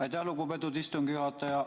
Aitäh, lugupeetud istungi juhataja!